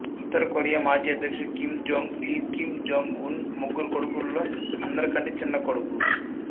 ఉత్తర Korea మాజీ అధ్యక్షుడు Kim Jong Il Kim Jong Un ముగ్గురు కొడుకుల్లో అందరికంటే చిన్న కొడుకు